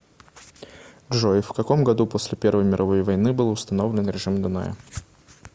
джой в каком году после первой мировой войны был установлен режим дуная